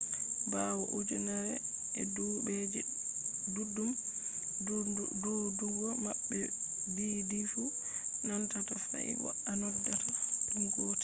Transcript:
bawo ujunere ee dubuuje duddum duudugo mabbe diidifu nandata fahin bo a noddaata dum gotel